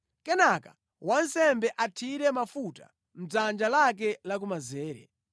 Kenaka wansembe athire mafuta mʼdzanja lake lamanzere,